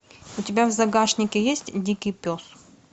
у тебя в загашнике есть дикий пес